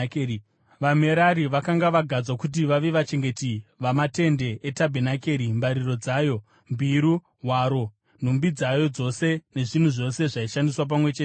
VaMerari vakanga vagadzwa kuti vave vachengeti vamatende etabhenakeri, mbariro dzayo, mbiru, hwaro, nhumbi dzayo dzose, nezvinhu zvose zvaishandiswa pamwe chete nazvo,